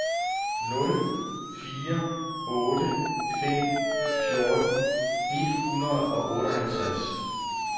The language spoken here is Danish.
nul fire otte fem fjorten et hundrede og otteoghalvtreds